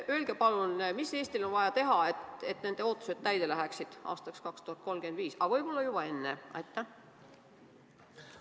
Öelge palun, mida Eestil on vaja teha, et nende ootused aastaks 2035, aga võib-olla juba enne täide läheksid.